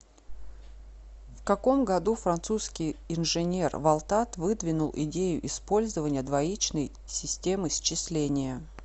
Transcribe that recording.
в каком году французский инженер валтат выдвинул идею использования двоичной системы счисления